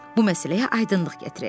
Bu məsələyə aydınlıq gətirək.